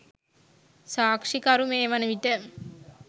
සාක්‍ෂිකරු මේ වනවිට